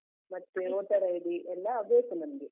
ಮತ್ತೆ Voter ID ಎಲ್ಲ ಬೇಕು ನಮ್ಗೆ.